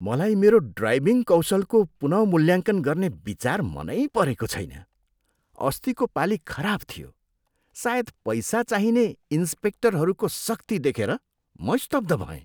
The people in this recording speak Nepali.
मलाई मेरो ड्राइभिङ कौशलको पुनः मूल्याङ्कन गर्ने विचार मनै परेको छैन। अस्तिको पालि खराब थियो। सायद पैसा चाहिने इन्स्पेक्टरहरूको सख्ती देखेर म स्तब्ध भएँ।